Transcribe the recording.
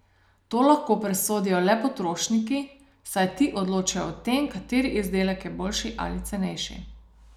To lahko presodijo le potrošniki, saj ti odločajo o tem, kateri izdelek je boljši ali cenejši.